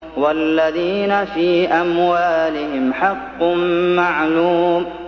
وَالَّذِينَ فِي أَمْوَالِهِمْ حَقٌّ مَّعْلُومٌ